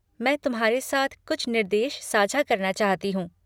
मैं तुम्हारे साथ कुछ निर्देश साझा करना चाहती हूँ।